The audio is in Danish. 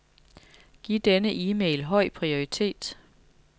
Giv denne e-mail høj prioritet.